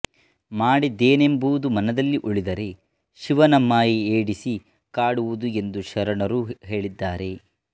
ಮಾಡಿದೆನೆಂಬುದು ಮನದಲ್ಲಿ ಉಳಿದರೆ ಶಿವನ ಮಾಯೆ ಏಡಿಸಿ ಕಾಡುವುದು ಎಂದು ಶರಣರು ಹೇಳಿದ್ದಾರೆ